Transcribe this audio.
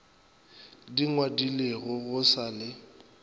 di ngwadilego go sa le